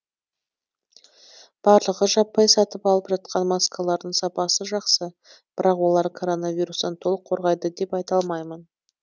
барлығы жаппай сатып алып жатқан маскалардың сапасы жақсы бірақ олар коронавирустан толық қорғайды деп айта алмаймын